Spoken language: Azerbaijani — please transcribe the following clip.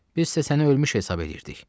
Biz isə səni ölmüş hesab edirdik.